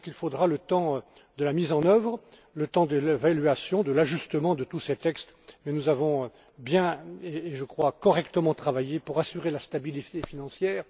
Il faudra donc le temps de la mise en œuvre, le temps de l'évaluation, de l'ajustement de tous ces textes mais nous avons convenablement et correctement travaillé pour assurer la stabilité financière.